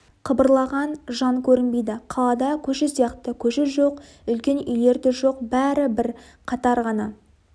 қыбырлаған жан көрінбейді қалада көше сияқты көше жоқ үлкен үйлер де жоқ бәрі бір қатар ғана